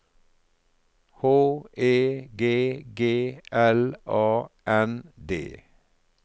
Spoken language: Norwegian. H E G G L A N D